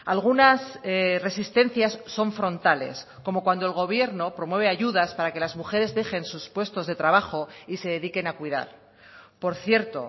algunas resistencias son frontales como cuando el gobierno promueve ayudas para que las mujeres dejen sus puestos de trabajo y se dediquen a cuidar por cierto